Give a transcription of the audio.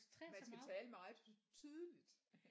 Man skal tale meget tydeligt